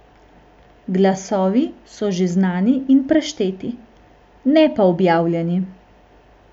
Glasovi so že znani in prešteti, ne pa objavljeni.